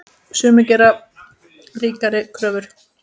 Sumir gera ríkari kröfur.